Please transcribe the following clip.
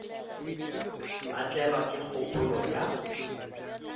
a tlelwa ke kgopolo ya